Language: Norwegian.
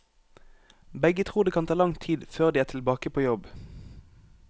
Begge tror det kan ta lang tid før de er tilbake på jobb.